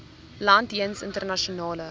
land jeens internasionale